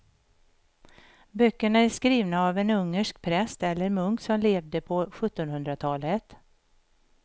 Böckerna är skrivna av en ungersk präst eller munk som levde på sjuttonhundratalet.